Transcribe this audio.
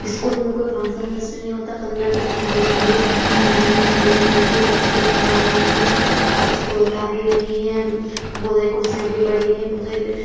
'' School में कोई function नहीं होता पंद्रह अगस्त छब्बीस जनवरी मैम ऐम भी सारी बहोत बैठी हैं प्रैक्टिकल करवा रही हैं। बच्चों को बता भी रही हैं बहोत सारी कुर्सियाँ भी पड़ी हैं बहोत सारी --''